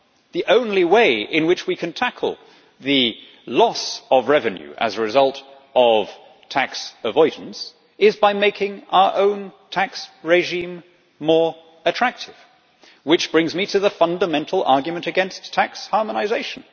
The only way in which we can tackle the loss of revenue as a result of tax avoidance is by making our own tax regime more attractive, which brings me to the fundamental argument against tax harmonisation.